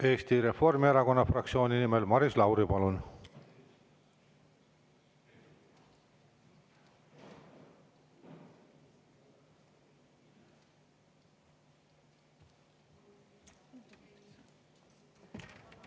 Eesti Reformierakonna fraktsiooni nimel Maris Lauri, palun!